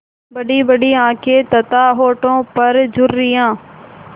बड़ीबड़ी आँखें तथा होठों पर झुर्रियाँ